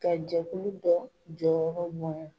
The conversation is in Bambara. Ka jɛkulu dɔ jɔyɔrɔ bonya